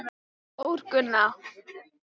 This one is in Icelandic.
Þórgunna